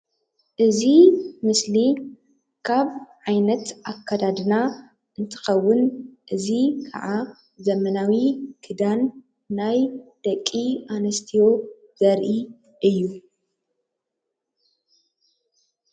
እዚ ምስሊ ካብ ዓይነት ኣከዳድና እንትከውን እዚ ክዓ ዘበናዊ ክዳን ናይ ደቂ ኣንስትዮ ዘርኢ እዩ፡፡